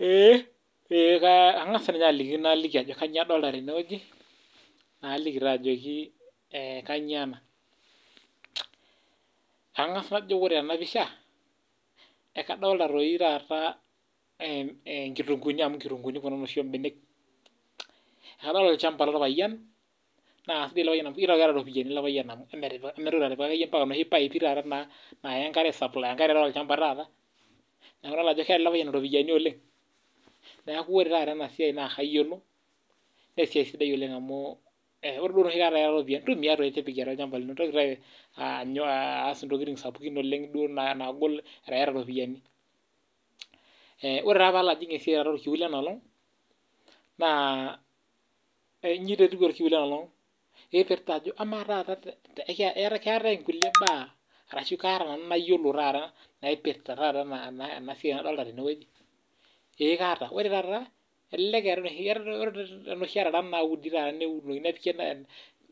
Eee ee kang'asa ninye aliki naaliki ajo kanyio adolita tene weji, naliki taa ajoki kanyio ena, ang'as najo ore tena pisha, ekadolita doi taata ee enkitunguuni amu inkutunguuuni kuna inoshi oombenek, akadolita olchamba lorpayian, naa kesidai ele payian sidai amuu keeta iropiyani ilo payian amuu emetipika kamaa entoki napika noshi paipi taata naa naaya enkare aisuplai enkare taata, neeku idolita ajo keeta ilo payian iropitani oleng' neeku ore taata ena sia naa kayiolo naa esia sidai oleng amuu ore duo enoshi kata iyata iropiyani ntumia toi tipikie atua olchamba lino mintoki toi aa aas intokitin sapukin oleng' duo nai naagol ata iyata iropiyani, ore taa paalo ajing' olkiu lena oleng' naa iji taa etiu olkiu lena oleng' irpita ajo amaa taa keetai inkuliek baa arashu kaata nanu nayiolo taata naipirta taata ena siai nadolita tene? ee kaata ore taata elelek iyayata inoshi arara naudi taata neunokini nepik